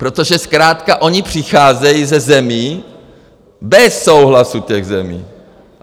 Protože zkrátka oni přicházejí ze zemí bez souhlasu těch zemí.